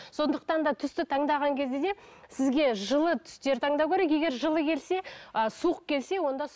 сондықтан да түсті таңдаған кезде де сізге жылы түстер таңдау керек егер жылы келсе ы суық келсе онда